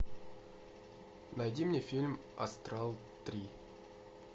найди мне фильм астрал три